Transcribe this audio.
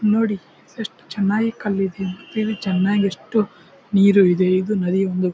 ನೋಡಿ ಎಷ್ಟು ಚೆನ್ನಾಗಿ ಕಲ್ಲು ಇದೆ ಮತ್ತು ಚೆನ್ನಾಗಿ ಎಷ್ಟು ನೀರು ಇದೆ. ಇದು ನದಿ--